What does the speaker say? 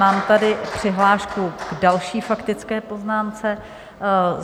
Mám tady přihlášku k další faktické poznámce.